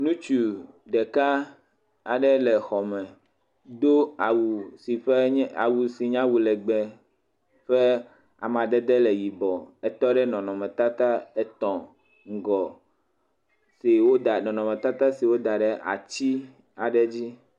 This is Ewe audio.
Ŋutsu ɖeka aɖe le xɔme, do awu si nye awu legbe ƒe amadede le yibɔ, etɔ ɖe nɔnɔmetata et ŋgɔ, nɔnɔmetata si woda ɖe atsi aɖe dzi.